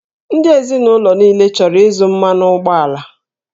Ndị ezinụlọ niile chọrọ ịzụ mmanụ ụgbọala